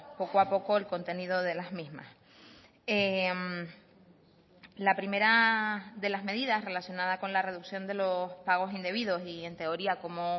poco a poco el contenido de las mismas la primera de las medidas relacionada con la reducción de los pagos indebidos y en teoría como